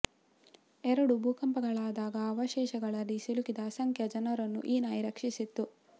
ಎರಡು ಭೂಕಂಪಗಳಾದಾಗ ಅವಶೇಷಗಳಡಿ ಸಿಲುಕಿದ ಅಸಂಖ್ಯ ಜನರನ್ನು ಈ ನಾಯಿ ರಕ್ಷಿಸಿತ್ತು